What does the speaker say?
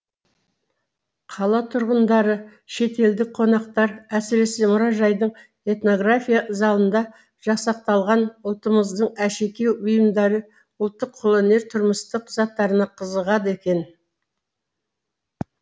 қала тұрғындары шетелдік қонақтар әсіресе мұражайдың этнография залында жасақталған ұлтымыздың әшекей бұйымдары ұлттық қолөнер тұрмыстық заттарына қызығады екен